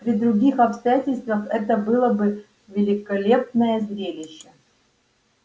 при других обстоятельствах это было бы великолепное зрелище